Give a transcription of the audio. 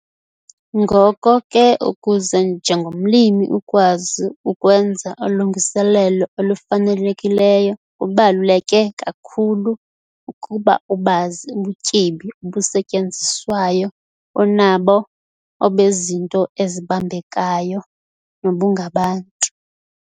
Ngoko ke ukuze njengomlimi ukwazi ukwenza ulungiselelo olufanelekileyo kubaluleke kakhulu ukuba ubazi ubutyebi obusetyenziswayo onabo - obezinto ezibambekayo nobungabantu.